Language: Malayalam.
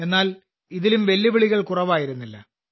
എന്നാൽ ഇതിലും വെല്ലുവിളികൾ കുറവായിരുന്നില്ല